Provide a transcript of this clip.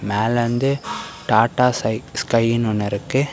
மேல வந்து டாடா சை ஸ்கை ஒன்னு இருக்கு.